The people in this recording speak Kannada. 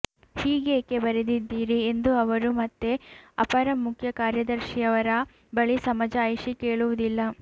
ಹೀಗೇಕೆ ಬರೆದಿದ್ದೀರಿ ಎಂದು ಅವರು ಮತ್ತೆ ಅಪರ ಮುಖ್ಯ ಕಾರ್ಯದರ್ಶಿಯವರ ಬಳಿ ಸಮಜಾಯಿಷಿ ಕೇಳುವುದಿಲ್ಲ